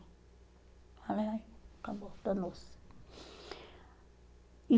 Falei, acabou, danou-se. E